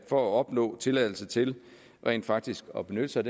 for at opnå tilladelse til rent faktisk at benytte sig